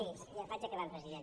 sí vaig acabant president